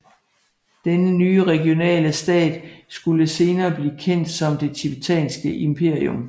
Denne nye regionale stat skulle senere blive kendt som det tibetanske imperium